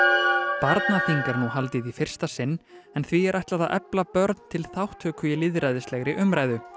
barnaþing er nú haldið í fyrsta sinn en því er ætlað að efla börn til þátttöku í lýðræðislegri umræðu